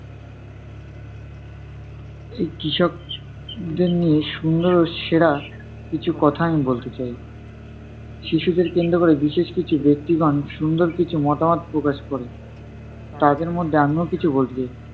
এই কৃষক দের সুন্দর ও সেরা কিছু কথা আমি বলতে চাই। শিশুদের কেন্দ্র করে বিশেষ কিছু ব্যক্তিগণ সুন্দর কিছু মতামত প্রকাশ করেন, তাদের মধ্যে আমিও কিছু বলতে চাই।